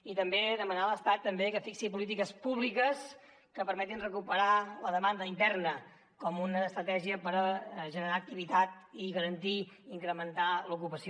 i també demanar a l’estat que fixi polítiques públiques que permetin recuperar la demanda interna com una estratègia per generar activitat i garantir i incrementar l’ocupació